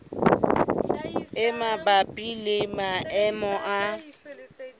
e mabapi le maemo a